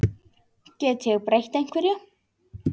Get ég breytt einhverju?